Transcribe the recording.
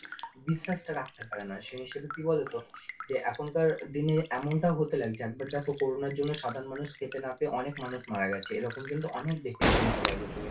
বিশ্বাসটা রাখতে পারেনা সেই নিয়ে শুধু কি বলতো, যে এখনকার দিনে এমনটা হতে লাগছে, একবার দেখো corona র জন্য সাধারণ মানুষ খেতে না পেয়ে অনেক মানুষ মারা গেছে। এরকম কিন্তু অনেক দেখে নিতে পারবে তুমি